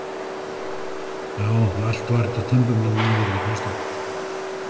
Já, allt var þetta timburmannanna virði, fannst okkur.